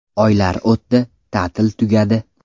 Oylar o‘tdi, ta’til tugadi.